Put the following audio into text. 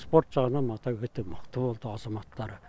спорт жағынан матай өте мықты болды азаматтары